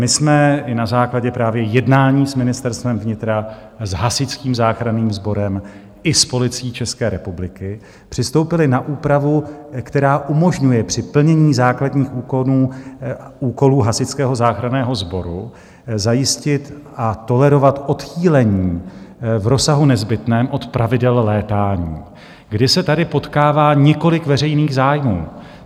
My jsme i na základě právě jednání s Ministerstvem vnitra, s Hasičským záchranným sborem i s Policií České republiky přistoupili na úpravu, která umožňuje při plnění základních úkolů Hasičského záchranného sboru zajistit a tolerovat odchýlení v rozsahu nezbytném od pravidel létání, kdy se tady potkává několik veřejných zájmů.